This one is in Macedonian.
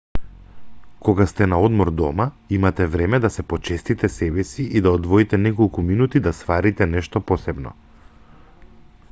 кога сте на одмор дома имате време да се почестите себеси и да одвоите неколку минути да сварите нешто посебно